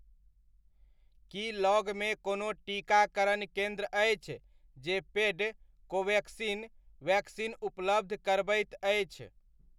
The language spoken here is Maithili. की लगमे कोनो टीकाकरण केन्द्र अछि जे पेड कोवेक्सिन वैक्सीन उपलब्ध करबैत अछि?